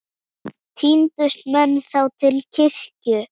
Tíndust menn þá til kirkju.